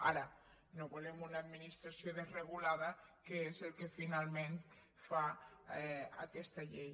ara no volem una administració desregulada que és el que finalment fa aquesta llei